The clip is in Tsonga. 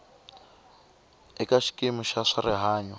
eka xikimi xa swa rihanyo